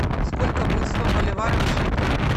сколько будет сто боливаров в шекелях